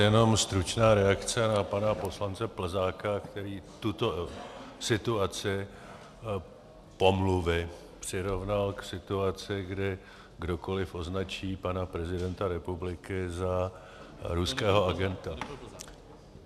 Jenom stručná reakce na pana poslance Plzáka, který tuto situaci pomluvy přirovnal k situaci, kdy kdokoliv označí pana prezidenta republiky za ruského agenta.